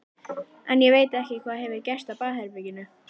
En ég veit ekki hvað hefur gerst á baðherberginu.